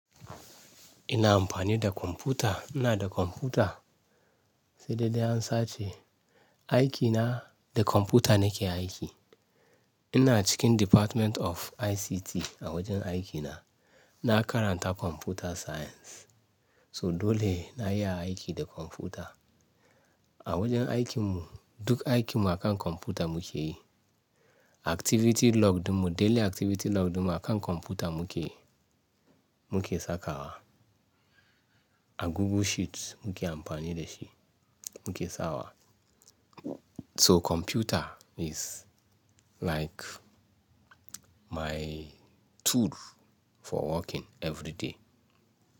Ina amfani da kwamfuta. Ina da kwamfuta. Sai dai, dai an sace. Aiki na da kwamfuta nake aiki. Ina cikin Department of ICT a wajen aikina. Na karanta Computer Science. So dole na yi aiki da kwamfuta. A wajen aikinmu duk aikin mu akan kwamfuta muke yi. Activity log ɗinmu, daily activity log ɗinmu akan kwamfuta muke, muke sakawa. A Google Sheets muke amfani da shi muke sawa. So kwamfuta is like my tool for working every day.